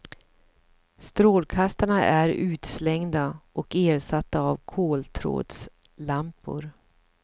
Strålkastarna är utslängda och ersatta av koltrådslampor.